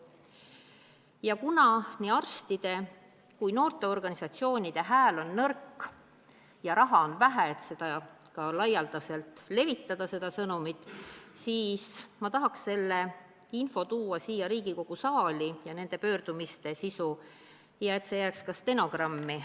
Ja kuna nii arstide kui ka noorteorganisatsioonide hääl on nõrk ja raha on vähe, et seda sõnumit laialdaselt levitada, siis ma tahaks nende pöördumiste sisu siin Riigikogu saalis ette kanda, et see jääks ka stenogrammi.